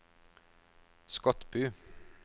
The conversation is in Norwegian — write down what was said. Skotbu